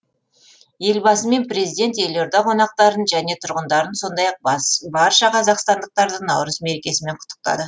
елбасы мен президент елорда қонақтарын және тұрғындарын сондай ақ барша қазақстандықтарды наурыз мерекесімен құттықтады